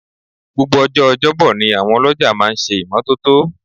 Gbogbo ọjọ́ ọjọ́bọ ni àwọn ọlọ́jà máa ń ṣe ìmọ́tótó